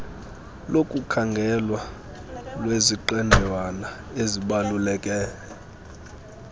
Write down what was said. lokukhangelwa lweziqendawana ezibaluleke